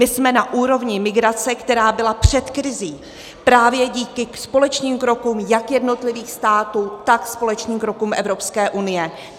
My jsme na úrovni migrace, která byla před krizí, právě díky společným krokům jak jednotlivých států, tak společným krokům Evropské unie.